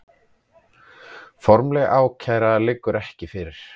Formleg ákæra liggur ekki fyrir